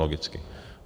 Logicky.